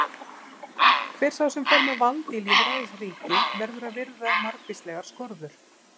Hver sá sem fer með vald í lýðræðisríki verður að virða margvíslegar skorður.